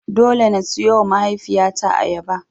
Dole na siyowa mahaifiyata ayaba.